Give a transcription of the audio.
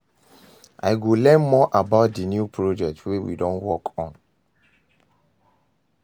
I go learn more about di new project wey we dey work on.